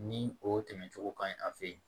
Ni o tɛmɛcogo ka ɲi a fɛ yen